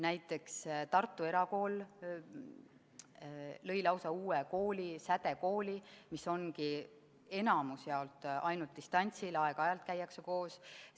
Näiteks, Tartu Erakool lõi lausa uue kooli – SädeTERA –, mis ongi enamjaolt ainult distantsõppel, aeg-ajalt käiakse koos.